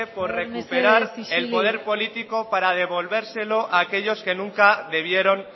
por recuperar el poder político para devolvérselo a aquellos que nunca debieron